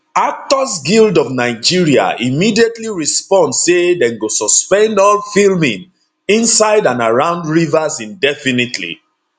actors guild of nigeria immediately respond say dem go suspend all filming inside and around rivers indefinitely